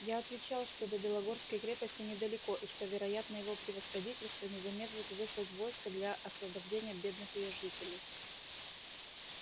я отвечал что до белогорской крепости недалеко и что вероятно его превосходительство не замедлит выслать войско для освобождения бедных её жителей